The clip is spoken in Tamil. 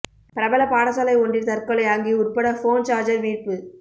பிரபல பாடசாலை ஒன்றில் தற்கொலை அங்கி உட்பட போன் சாஜர் மீட்பு